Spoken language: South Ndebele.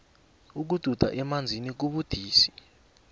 ukududa emanzini kubudisi